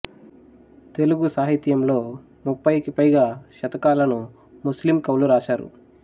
తెలుగు సాహిత్యంలో ముప్ఫైకి పైగా శతకాలను ముస్లిం కవులు రాశారు